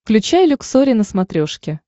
включай люксори на смотрешке